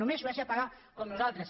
només suècia paga com nosaltres